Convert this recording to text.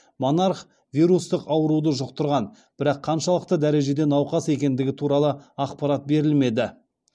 монарх вирустық ауруды жұқтырған бірақ қаншалықты дәрежеде науқас екендігі туралы ақпарат берілмеді